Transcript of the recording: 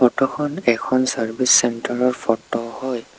Photo খন এখন service centre ৰ ফটো হয়।